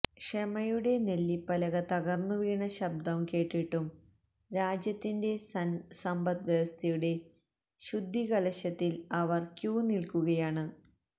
ക്ഷമയുടെനെല്ലിപ്പലക തകർന്നു വീണ ശബ്ദം കേട്ടിട്ടും രാജ്യത്തിന്റെ സന്പദ്്വ്യവസ്ഥയുടെ ശുദ്ധികലശത്തിൽ അവർ ക്യൂ നിൽക്കുകയാണ്